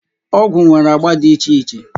Ọgwụ nwere agba dị iche iche.